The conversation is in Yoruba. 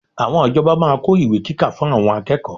Àwọn ìjọba máa kó ìwé kíkà fún àwọn akẹ́kọ̀ọ́